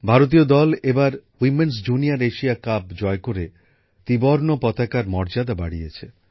ভারতীয় মহিলা দল প্রথম বার জুনিয়ার এশিয়া কাপ জয় করে ত্রিবর্ণ রঞ্জিত পতাকার মর্যাদা বাড়িয়েছে